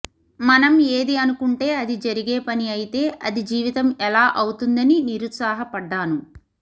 మనం ఏది అనుకుంటే అది జరిగే పని అయితే అది జీవితం ఎలా అవుతుందని నిరుత్సాహపడ్డాను